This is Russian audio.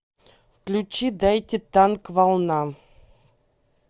включи дайте танк волна